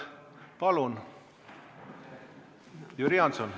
Palun!